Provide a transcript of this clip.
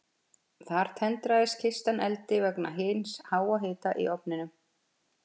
Þar tendrast kistan eldi vegna hins háa hita í ofninum.